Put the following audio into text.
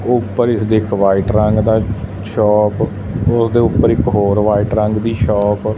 ਉੱਪਰ ਇਸਦੇ ਇੱਕ ਵਾਈਟ ਰੰਗ ਦਾ ਸ਼ੋਪ ਉਸਦੇ ਉੱਪਰ ਇਕ ਹੋਰ ਵਾਈਟ ਰੰਗ ਦੀ ਸ਼ੋਪ --